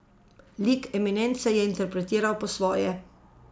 Lik Eminence je interpretiral po svoje.